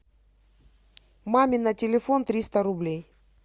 маме на телефон триста рублей